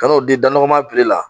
Ka n'o di dan nɔgɔma piri la.